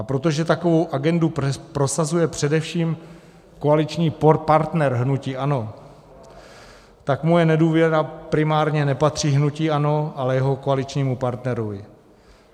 A protože takovou agendu prosazuje především koaliční partner hnutí ANO, tak moje nedůvěra primárně nepatří hnutí ANO, ale jeho koaličnímu partnerovi.